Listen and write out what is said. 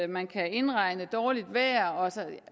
man kan indregne dårligt vejr